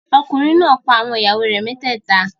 Ọkùnrin náà pa àwọn ìyàwó rẹ̀ mẹ́tẹ́ẹ̀ta.